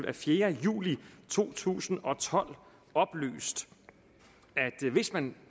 af fjerde juli to tusind og tolv oplyst at hvis man